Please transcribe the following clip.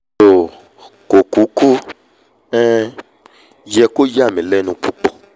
toò kò kúkú um yẹ kó yàmí lẹ́nu púpọ̀